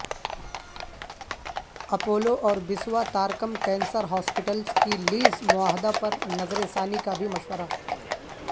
Apollo اور Basavatarakam cancer hospitals کی lease معاہدہ پر نظر ثانی کابھی مشورہ